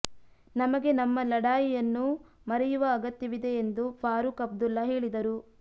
ನಮಗೆ ನಮ್ಮ ಲಡಾಯಿಯನ್ನು ಮರೆಯುವ ಅಗತ್ಯವಿದೆ ಎಂದು ಫಾರೂಕ್ ಅಬ್ದುಲ್ಲ ಹೇಳಿದರು